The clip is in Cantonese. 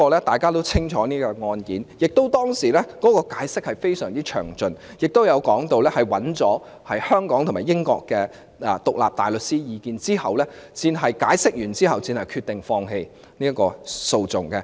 大家也清楚這宗案件，當時的解釋亦非常詳盡，並且提到在尋求香港和英國的獨立大律師意見後，律政司才決定放棄起訴。